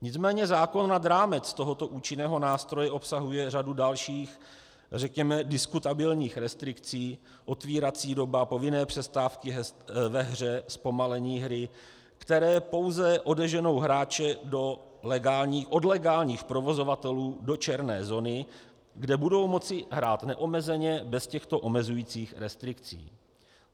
Nicméně zákon nad rámec tohoto účinného nástroje obsahuje řadu dalších, řekněme diskutabilních restrikcí - otevírací doba, povinné přestávky ve hře, zpomalení hry - které pouze odeženou hráče od legálních provozovatelů do černé zóny, kde budou moci hrát neomezeně bez těchto omezujících restrikcí.